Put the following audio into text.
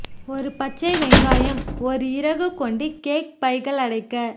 ஒரு பச்சை வெங்காயம் ஒரு இறகு கொண்டு கேக் பைகள் அடைக்க